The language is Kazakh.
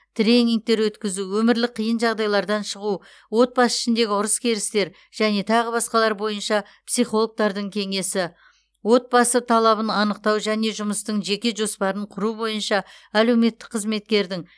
тренингтер өткізу өмірлік қиын жағдайлардан шығу отбасы ішіндегі ұрыс керістер және тағы басқалар бойынша психологтардың кеңесі отбасы талабын анықтау және жұмыстың жеке жоспарын құру бойынша әлеуметтік қызметкердің